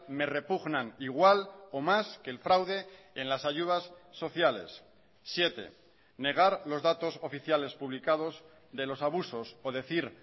me repugnan igual o más que el fraude en las ayudas sociales siete negar los datos oficiales publicados de los abusos o decir